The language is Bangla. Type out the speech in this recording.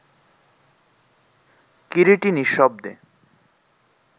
কিরীটী নিঃশব্দে